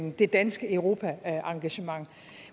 det danske europaengagement